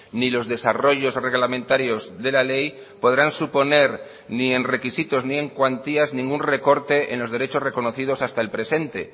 ni los desarrollos reglamentarios de la ley podrán suponer ni en requisitos ni en cuantías ningún recorte en los derechos reconocidos hasta el presente